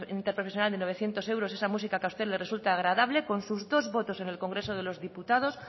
interprofesional de novecientos euros esa música que a usted le resulta agradable con sus dos votos en el congreso de los diputados